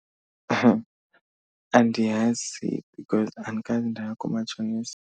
Andiyazi because andikaze ndaya koomatshonisa.